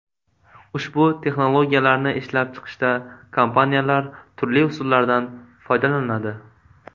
Ushbu texnologiyalarni ishlab chiqishda kompaniyalar turli usullardan foydalanadi.